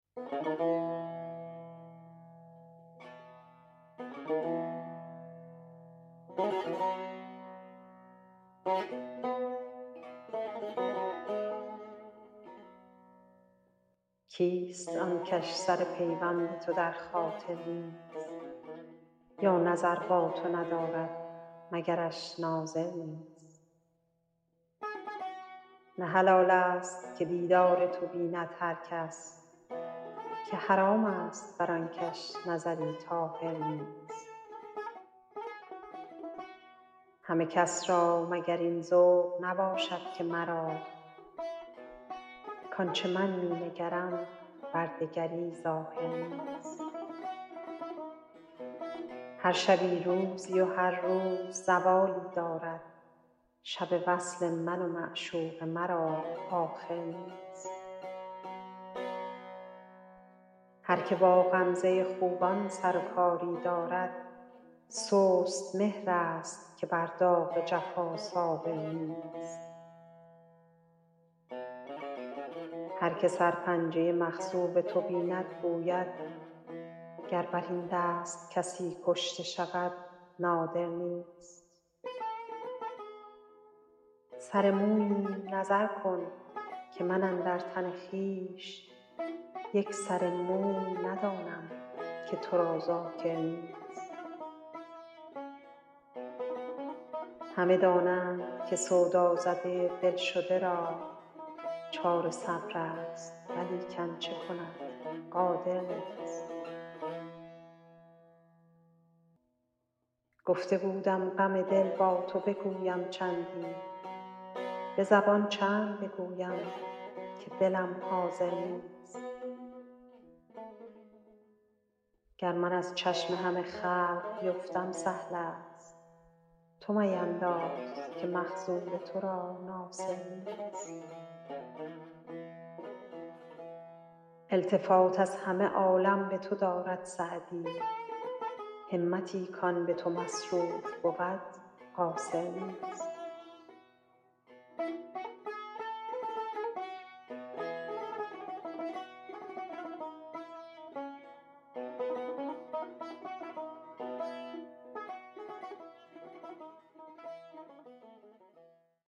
کیست آن کش سر پیوند تو در خاطر نیست یا نظر با تو ندارد مگرش ناظر نیست نه حلال ست که دیدار تو بیند هر کس که حرام ست بر آن کش نظری طاهر نیست همه کس را مگر این ذوق نباشد که مرا کآن چه من می نگرم بر دگری ظاهر نیست هر شبی روزی و هر روز زوالی دارد شب وصل من و معشوق مرا آخر نیست هر که با غمزه خوبان سر و کاری دارد سست مهرست که بر داغ جفا صابر نیست هر که سرپنجه مخضوب تو بیند گوید گر بر این دست کسی کشته شود نادر نیست سر موییم نظر کن که من اندر تن خویش یک سر موی ندانم که تو را ذاکر نیست همه دانند که سودازده دل شده را چاره صبرست ولیکن چه کند قادر نیست گفته بودم غم دل با تو بگویم چندی به زبان چند بگویم که دلم حاضر نیست گر من از چشم همه خلق بیفتم سهل ست تو مپندار که مخذول تو را ناصر نیست التفات از همه عالم به تو دارد سعدی همتی کآن به تو مصروف بود قاصر نیست